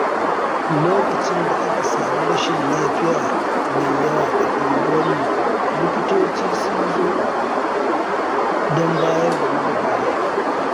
Lokacin da aka sami rashin lafiya mai yawa a unguwarmu, likitoci sun zo don bayar da gudunmawa.